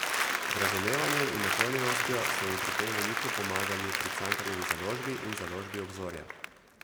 Z razumevanjem in naklonjenostjo so mi pri tem veliko pomagali pri Cankarjevi založbi in založbi Obzorja.